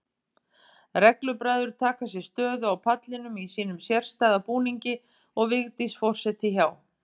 Reglubræður taka sér stöðu á pallinum í sínum sérstæða búningi og Vigdís forseti hjá.